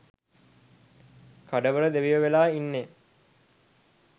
කඩවර දෙවියෝ වෙලා ඉන්නේ